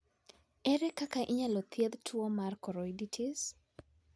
Ere kaka inyalo thiedh tuwo mar choroiditis?